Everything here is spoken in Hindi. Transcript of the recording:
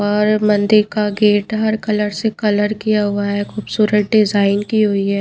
और मंदिर का गेट हर कलर से कलर किया हुआ है खूबसूरत डिजाइन की हुई है।